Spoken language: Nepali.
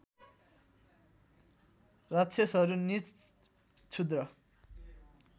राक्षसहरू नीच क्षुद्र